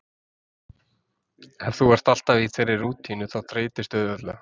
Ef þú ert alltaf í þeirri rútínu þá þreytistu auðveldlega.